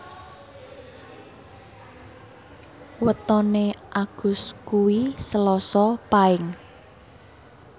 wetone Agus kuwi Selasa Paing